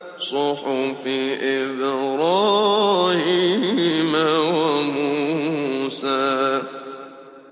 صُحُفِ إِبْرَاهِيمَ وَمُوسَىٰ